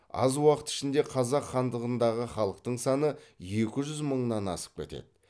аз уақыт ішінде қазақ хандығындағы халықтың саны екі жүз мыңнан асып кетеді